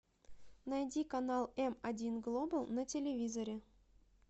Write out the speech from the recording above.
найди канал м один глобал на телевизоре